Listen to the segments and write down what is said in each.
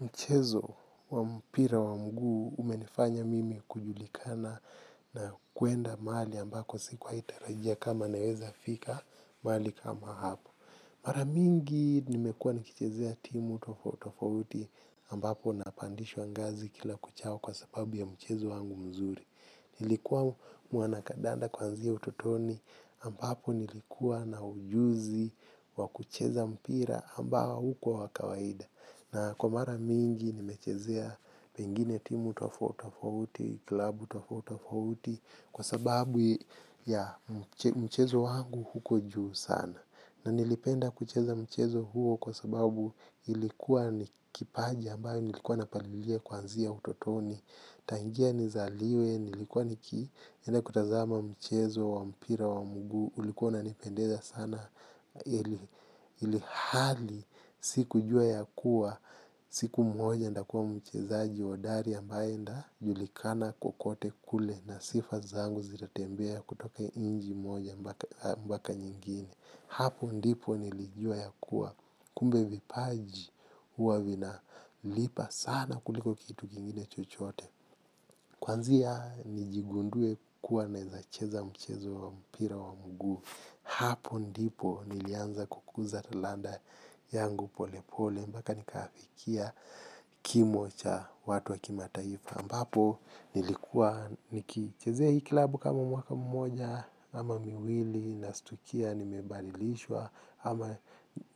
Mchezo wa mpira wa mguu umenifanya mimi kujulikana na kuenda mahali ambako sikuwahi tarajia kama naweza fika mahali kama hapo. Mara mingi nimekuwa nikichezea timu tofauti tofauti ambapo napandishwa ngazi kila kuchao kwa sababu ya mchezo wangu mzuri. Nilikuwa mwanakandanda kuanzia utotoni ambapo nilikuws na ujuzi wa kucheza mpira. Na kwa mara mingi nimechezea pengine timu tofauti tofauti, klabu tofauti tofauti kwa sababu ya mchezo wangu huko juu sana. Na nilipenda kucheza mchezo huo kwa sababu ilikuwa ni kipaji ambayo nilikuwa napalilia kuanzia utotoni. Tangia nizaliwe nilikuwa nikienda kutazama mchezo wa mpira wa mguu, ulikuwa unanipendeza sana ilihali sikujua ya kuwa siku moja nitakuwa mchezaji hodari ambaye nitajulikana kokote kule na sifa zangu zitatembea kutoka nchi moja mpaka nyingine. Hapo ndipo nilijua ya kuwa kumbe vipaji huwa vinalipa sana kuliko kitu kingine chochote. Kuanzia nijigundue kuwa naweza cheza mchezo wa mpira wa mguu. Hapo ndipo nilianza kukuza talanta yangu polepole mpaka nikafikia kimo cha watu wa kimataifa. Ambapo nilikuwa nikichezea hii klabu kama mwaka mmoja ama miwili nastukia nimebadilishwa. Ama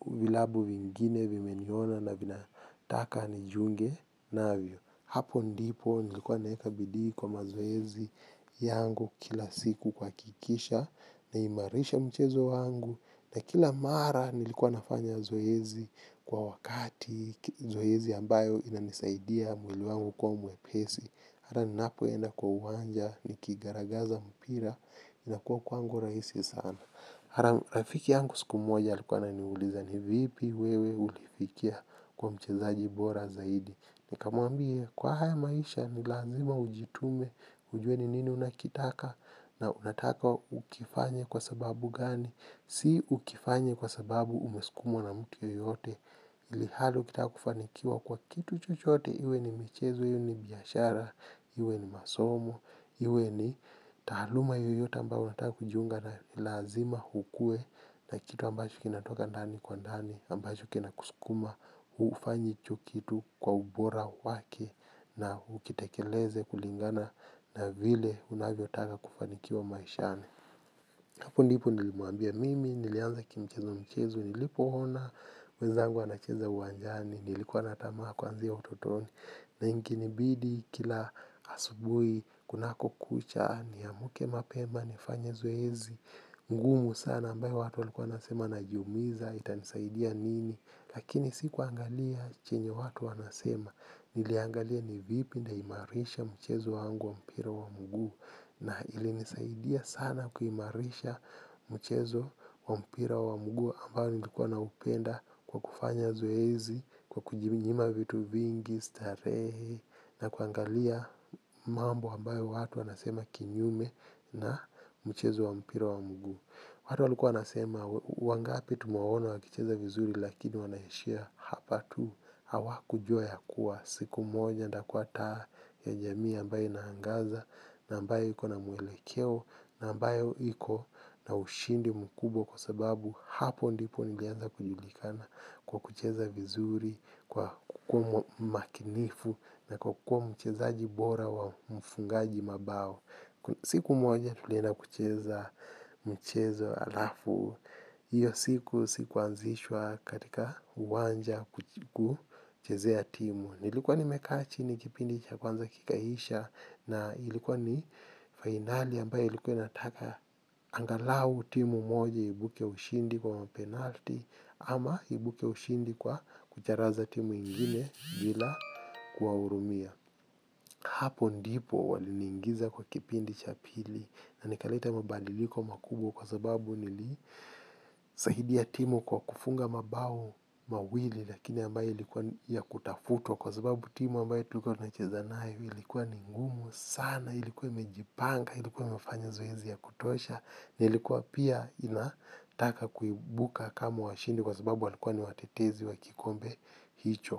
vilabu vingine vimeniona na vinataka nijiunge navyo. Hapo ndipo nilikuwa naweka bidii kwa mazoezi yangu kila siku kuhakikisha naimarisha mchezo wangu na kila mara nilikuwa nafanya zoezi kwa wakati, zoezi ambayo inanisaidia mwili wangu kuwa mwepesi. Hata ninapoenda kwa uwanja nikigaragaza mpira inakuwa kwangu rahisi sana. Rafiki yangu siku moja alikuwa ananiuliza ni vipi wewe ulifikia kuwa mchezaji bora zaidi, nikamwambia, kwa haya maisha ni lazima ujitume ujue ni nini unakitaka na unataka ukifanye kwa sababu gani, si ukifanye kwa sababu umesukumwa na mtu yeyote ilhali ukitaka kufanikiwa kwa kitu chochote iwe ni michezo, iwe ni biashara, iwe ni masomo iwe ni taaluma yoyote ambayo unataka kujiunga nayo ni lazima ukuwe na kitu ambacho kinatoka ndani kwa ndani ambacho kinakusukuma, hufanyi tu kitu kwa ubora wake, na ukitekeleze kulingana na vile unavyotaka kufanikiwa maishani. Hapo ndipo nilimwambia mimi, nilianza kimchezomchezo, nilipoona wezangu wanacheza uwanjani, nilikuwa na tamaa kuanzia utotoni, na ikinibidi kila asubuhi kunapokucha niamke mapema nifanye zoezi ngumu sana ambayo watu walikuwa wanasema najiumiza itanisaidia nini, lakini sikuangalia chenye watu wanasema, niliangalia ni vipi nitaimarisha mchezo wangu wa mpira wa mguu. Na ilinisaidia sana kuimarisha mchezo wa mpira wa mguu ambao nilikuwa naupenda kwa kufanya zoezi, kwa kujinyima vitu vingi, starehe na kuangalia mambo ambayo watu wanasema kinyume na mchezo wa mpira wa mguu. Watu walikuwa wanasema, wangapi tumewaona wakicheza vizuri lakini wanaishia hapa tu, hawakujua ya kuwa, siku moja nitakuwa taa ya jamii ambayo inaangaza, na ambayo iko na mwelekeo, na ambayo iko na ushindi mkubwa kwa sababu hapo ndipo nilianza kujulikana kwa kucheza vizuri, kwa kukuwa makinifu, na kwa kuwa mchezaji bora wa mfungaji mabao. Siku moja tulienda kucheza mchezo alafu, hiyo siku sikuanzishwa katika uwanja kuchezea timu. Nilikuwa nimekaa chini kipindi cha kwanza kikaisha na ilikuwa ni finali ambaye ilikuwa inataka angalau timu moja ivuke ushindi kwa penalti ama iibuke ushindi kwa kucharaza timu ingine bila kuwahurumia. Hapo ndipo waliniingiza kwa kipindi cha pili na nikaleta mabadiliko makubwa kwa sababu nili saidia timu kwa kufunga mabao mawili lakini ambaye ilikuwa ya kutafutwa kwa sababu timu ambaye tulikua tunacheza nayo ilikuwa ni ngumu sana ilikuwa imejipanga ilikuwa imefanya zoezi ya kutosha ilikuwa pia inataka kuibuka kama washindi kwa sababu walikuwa ni watetezi wa kikombe hicho.